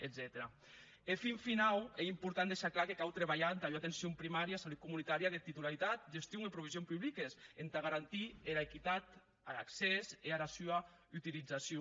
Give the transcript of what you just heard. e fin finau ei important deishar clar que cau trabalhar entà ua atencion primària e salut comunitària de titularitat gestion e provision publiques entà garantir era equitat ar accès e ara sua utilizacion